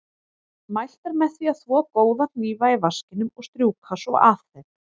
Mælt er með því að þvo góða hnífa í vaskinum og strjúka svo af þeim.